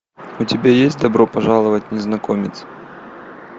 у тебя есть добро пожаловать незнакомец